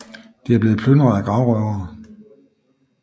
Det er blevet plyndret af gravrøvere